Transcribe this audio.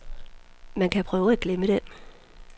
Man kan prøve at glemme den.